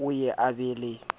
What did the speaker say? o ye a be le